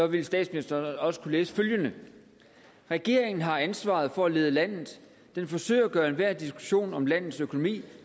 ville statsministeren også kunne læse følgende men regeringen har ansvar for at lede landet den forsøger at gøre enhver diskussion om landets økonomi